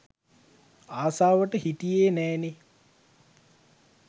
ආසාවට හිටියේ නෑනේ